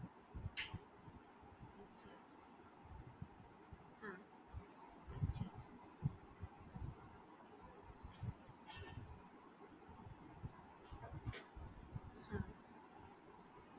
हां. अच्छा. हां.